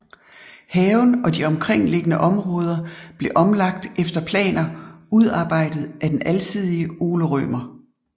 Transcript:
Haven og de omkringliggende områder blev omlagt efter planer udarbejdet af den alsidige Ole Rømer